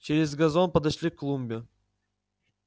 через газон подошли к клумбе